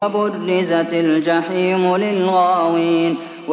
وَبُرِّزَتِ الْجَحِيمُ لِلْغَاوِينَ